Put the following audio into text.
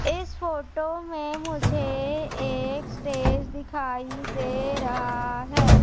इस फोटो में मुझे एक स्टेज दिखाई दे रहा है।